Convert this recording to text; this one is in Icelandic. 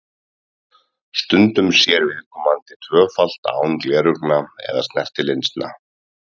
Stundum sér viðkomandi tvöfalt án gleraugna eða snertilinsa.